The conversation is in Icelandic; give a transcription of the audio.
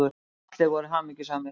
Og allir voru hamingjusamir.